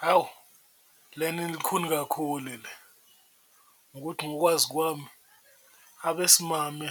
Hhawu lena ilikhuni kakhulu le ngokuthi ngokwazi kwami abesimame